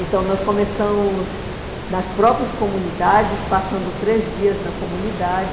Então, nós começamos nas próprias comunidades, passando três dias na comunidade,